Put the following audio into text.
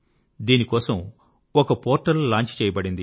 దీనికోసం ఒక portal launch చేయబడింది